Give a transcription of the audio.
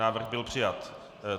Návrh byl přijat.